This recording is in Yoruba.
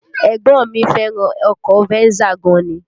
Ẹ̀gbọ́n mi fẹ́ràn ọkọ Venza gan ni